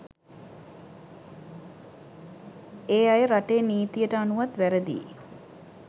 ඒ අය රටේ නීතියට අනුවත් වැරදියි.